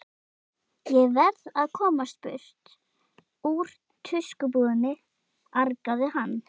Ég verð að komast burt úr tuskubúðinni, argaði hann.